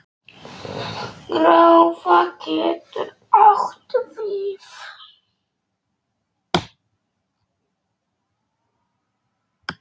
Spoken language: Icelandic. Gráða getur átt við